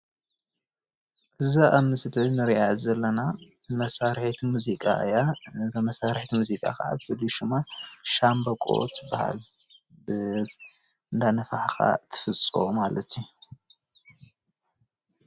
እዛ ኣብ ምስሊ ንሪኣ ዘለና መሳሪሒት ሙዚቃ እያ ።እታ መሳርሒት ሙዚቃ ከዓ ፍሉይ ሹማ ሽምበቆ ትበሃል እንዳነፋሕካ ትፍፆ ማለት እዩ።